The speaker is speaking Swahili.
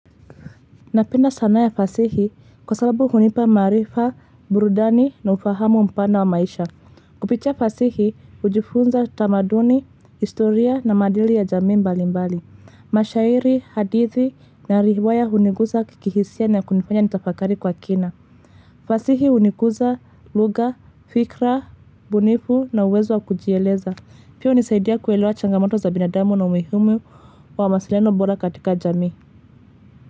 Napenda sanaa ya fasihi kwa sababu hunipa maarifa, burudani na ufahamu mpana wa maisha. Kupitia fasihi, hujifunza tamaduni, historia na madili ya jamii mbali mbali. Mashairi, hadithi na riwaya huniguza kikihisia na kunifanya nitafakari kwa kina. Fasihi huniguza, lugha, fikra, ubunifu na uwezo wa kujieleza. Pia hunisaidia kuelewa changamoto za binadamu na umuhimu wa wasiliano bora katika jamii.